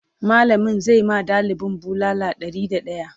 mallamin zai ma ɗalibin bulala Ɗari da daya